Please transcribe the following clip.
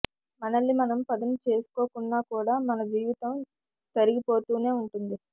మనల్ని మనం పదును చేసుకోకున్నా కూడా మన జీవితం తరిగిపోతూనే ఉంటుంది